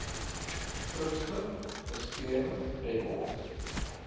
vroegste geskrewe rekords